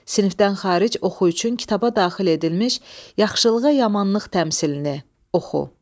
Sinifdən xaric oxu üçün kitaba daxil edilmiş yaxşılığa yamanlıq təmsilini oxu.